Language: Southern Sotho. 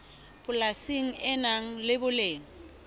polasi le nang le boleng